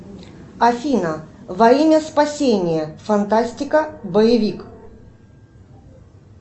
афина во имя спасения фантастика боевик